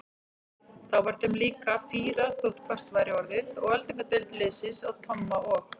Þá var þeim líka fýrað þótt hvasst væri orðið og öldungadeild liðsins að Tomma og